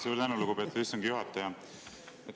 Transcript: Suur tänu, lugupeetud istungi juhataja!